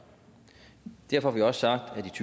derfor har vi også sagt